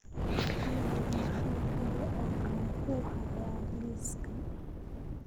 olly maxaa kale oo aan ku hayaa liiska